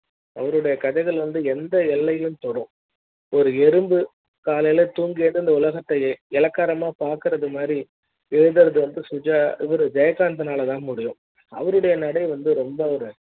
அவருடைய கதைகள் வந்து எந்த எல்லையும் தொடும் ஒரு இரும்பு காலைல தூங்கி எழுந்து உலக த்தை இளக்காரமா பாக்குறது மாதிரி எழுதுறது வந்து சுகர் ஜெயகாந்தன் னால தான் முடியும் அவருடைய நடை வந்து ரொம்ப ஒரு